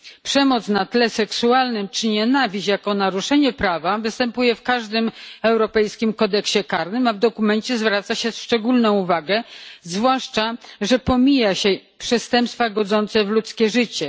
Przemoc na tle seksualnym czy nienawiść jako naruszenie prawa występuje w każdym europejskim kodeksie karnym, a w dokumencie zwraca się na to szczególną uwagę, zwłaszcza, że pomija się przestępstwa godzące w ludzkie życie.